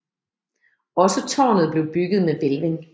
Også târnet blev bygget med hvælving